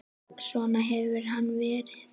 Svona hefur hann verið.